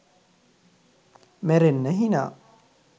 මැරෙන්න හිනා.